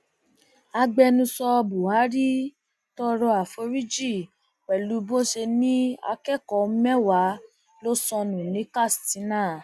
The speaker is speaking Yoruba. agbẹnusọ buhari tọrọ àforíjì pẹlú bó ṣe ní akẹkọọ mẹwàá ló sọnù ní katsina